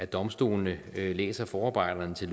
domstolene læser forarbejderne til